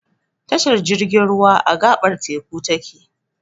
Tashar jirgin ruwa, a gaɓar teku ta ke.